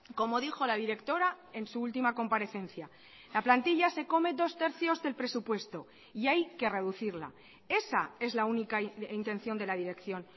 como dijo la directora en su última comparecencia la plantilla se come dos tercios del presupuesto y hay que reducirla esa es la única intención de la dirección